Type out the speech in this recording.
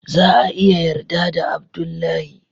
za a iya yarda da Abdullahi.